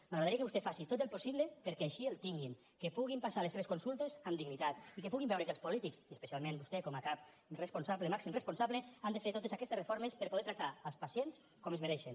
m’agradaria que vostè faci tot el possible perquè així el tinguin que puguin passar les seves consultes amb dignitat i que puguin veure que els polítics especialment vostè com a cap màxim responsable han de fer totes aquestes reformes per poder tractar els pacients com es mereixen